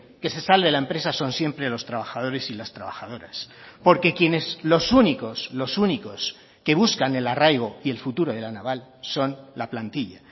que se salve la empresa son siempre los trabajadores y las trabajadoras porque quienes los únicos los únicos que buscan el arraigo y el futuro de la naval son la plantilla